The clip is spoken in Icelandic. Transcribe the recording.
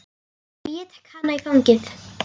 Og ég tek hana í fangið.